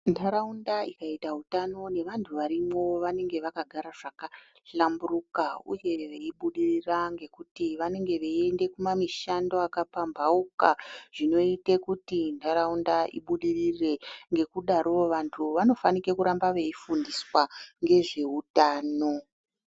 Ntaraunda ikaita utano nevantu varimwo vanenge vakagara zvakahlamburuka uye veibudirira ngekuti vanenge veiende kumamishando akapamhauka zvinoite kuti ntaraunda ibudirire, ngekudaro vantu vanofanike kuramba veifundiswa ngezveutano.